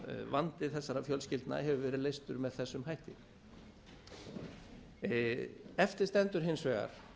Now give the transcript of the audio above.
vandi þessara fjölskyldna hefur verið leystur með þessum hætti eftir stendur hins vegar